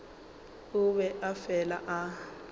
o be a fela a